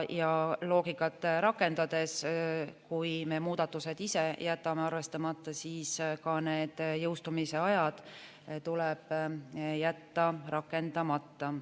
Loogikat rakendades, kui me muudatused ise jätame arvestamata, siis ka need jõustumise ajad tuleb jätta rakendamata.